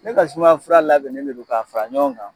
Ne ka sumaya fura labɛn ne de don k'a fara ɲɔgɔn kan